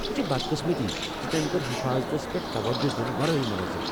یہ چھے بَدقِسمٔتی زِ تٔمۍ کٔر حفاظتس پیٹھ توجہہ دِنہٕ ورٲیی مُنظم ۔